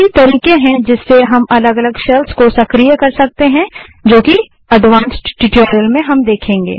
काफी तरीके हैं जिससे हम अलग अलग शेल्स को सक्रिय कर सकते हैं जो कि एडवांस्ड ट्यूटोरियल्स में देखेंगे